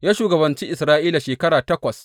Ya shugabanci Isra’ila shekara takwas.